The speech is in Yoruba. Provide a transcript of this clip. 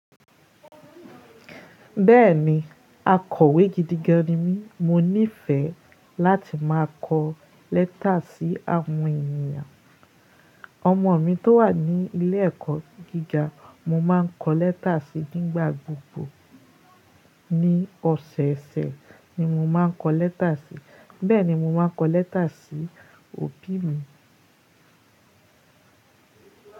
Bẹ́ẹ̀ni, akọ̀wé gidigan ni mí. Mo nífẹ̀ẹ́ láti máa kọ lẹ́tà sí àwọn ènìyàn. Ọmọ mi tó wà ní ilé ẹ̀kọ́ gíga, mo máa ń kọ lẹ́tà síi nígbà gbogbo. Ni ọ̀sẹ̀ẹ̀sẹ̀ ni mo máa ń kọ lẹ́tà síi. Bẹ́ẹ̀ ni mo máa ń kọ lẹ́tà sí òbí mi.